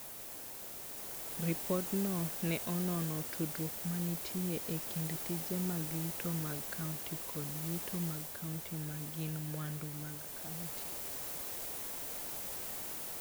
Ripodno ne onono tudruok mantie e kind tije mag yuto mag kaunti kod yuto mag kaunti ma gin mwandu mag kaunti.